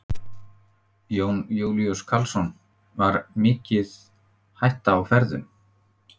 Jón Júlíus Karlsson: Var mikið hætta á ferðum?